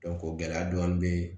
gɛlɛya dɔɔni bɛ